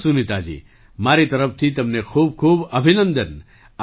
ચાલો સુનીતાજી મારી તરફથી તમને ખૂબ ખૂબ અભિનંદન